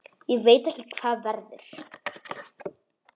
Ég veit ekki hvað verður.